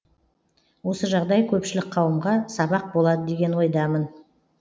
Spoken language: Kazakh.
осы жағдай көпшілік қауымға сабақ болады деген ойдамын